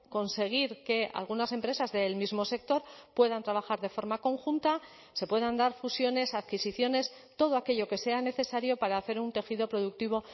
conseguir que algunas empresas del mismo sector puedan trabajar de forma conjunta se puedan dar fusiones adquisiciones todo aquello que sea necesario para hacer un tejido productivo